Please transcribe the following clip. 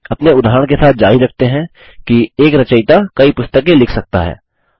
अपने उदाहरण के साथ जारी रखते हैं कि एक रचयिता कई पुस्तकें लिख सकता है